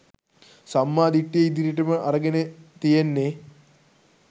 සම්මා දිට්ඨිය ඉදිරියටම අරගෙන තියෙන්නේ.